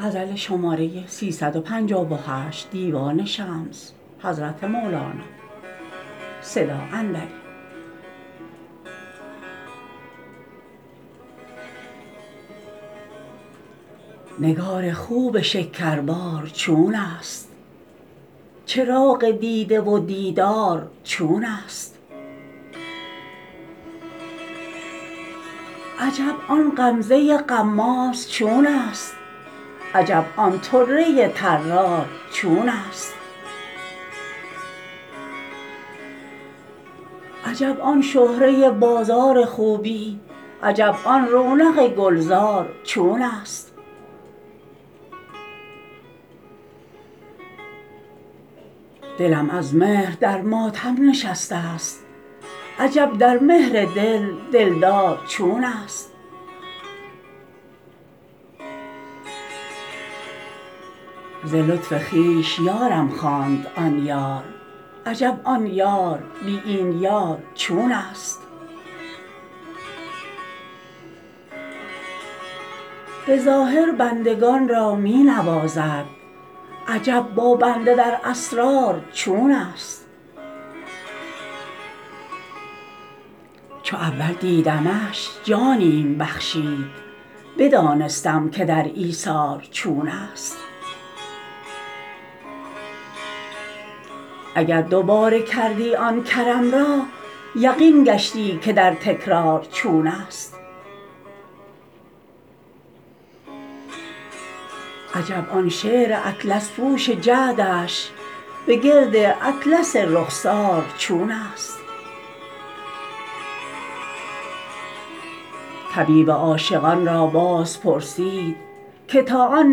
نگار خوب شکربار چونست چراغ دیده و دیدار چونست عجب آن غمزه غماز چونست عجب آن طره طرار چونست عجب آن شهره بازار خوبی عجب آن رونق گلزار چونست دلم از مهر در ماتم نشسته ست عجب در مهر دل دلدار چونست ز لطف خویش یارم خواند آن یار عجب آن یار بی این یار چونست به ظاهر بندگان را می نوازد عجب با بنده در اسرار چونست چو اول دیدمش جانیم بخشید بدانستم که در ایثار چونست اگر دوباره کردی آن کرم را یقین گشتی که در تکرار چونست عجب آن شعر اطلس پوش جعدش بگرد اطلس رخسار چونست طبیب عاشقان را بازپرسید که تا آن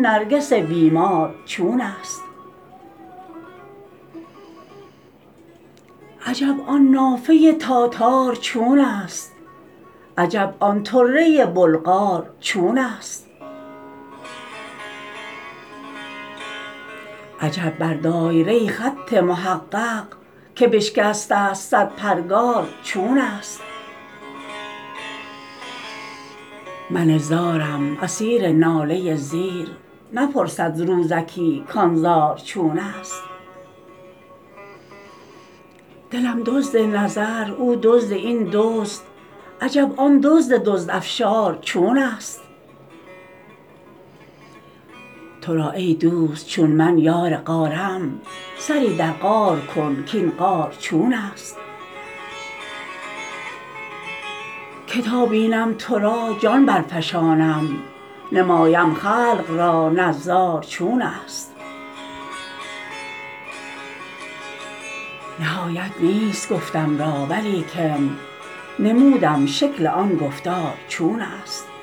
نرگس بیمار چونست عجب آن نافه تاتار چونست عجب آن طره بلغار چونست عجب بر دایره خط محقق که بشکسته ست صد پرگار چونست من زارم اسیر ناله زیر نپرسد روزکی کان زار چونست دلم دزد نظر او دزد این دزد عجب آن دزد دزدافشار چونست تو را ای دوست چون من یار غارم سری در غار کن کاین غار چونست که تا بینم تو را جان برفشانم نمایم خلق را نظار چونست نهایت نیست گفتم را ولیکن نمودم شکل آن گفتار چونست